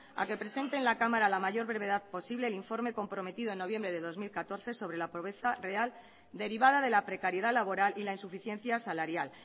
a que presente en la cámara a la mayor brevedad posible el informe comprometido en noviembre de dos mil catorce sobre la pobreza real derivada de la precariedad laboral y la insuficiencia salarial